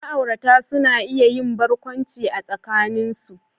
Ma'aurata suna iya yin barkwanci a tsakanin su.